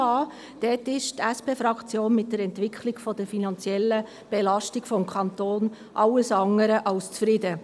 Diesbezüglich ist SP-Fraktion ist mit der Entwicklung der finanziellen Belastung des Kantons alles andere als zufrieden.